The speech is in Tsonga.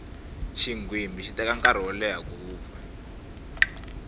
xinghwimbi xi teka nkarhi wo leya ku vupfa